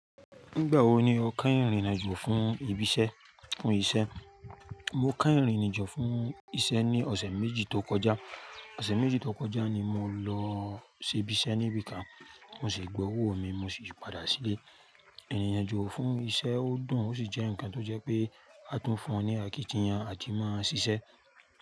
Nígbà wo ni o keyin rin ìrìnàjò fún ìbísẹ́, fún iṣẹ́? Mo keyin ìrìnàjò fún iṣẹ́ ní ọ̀sẹ̀ méjì tó kọjá. Ọ̀sẹ̀ méjì tó kọjá ni mo lọ sí ibi iṣẹ́ níbìkà. Mo sì gba owó mi, mo sì padà sílé. Ìrìnàjò fún iṣẹ́ ó dùn ó sì jẹ́ ǹkan tó jẹ́ pé a tún fún ọ ní àkìtì yan àti máa ṣiṣẹ́